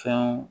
Fɛnw